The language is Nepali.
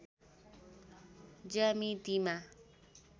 ज्यामितिमा